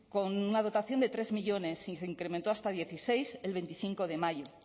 con una dotación de tres millónes y se incrementó hasta dieciséis el veinticinco de mayo